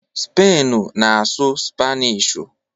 Spainu na-asụ Spanishu